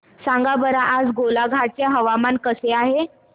सांगा बरं आज गोलाघाट चे हवामान कसे आहे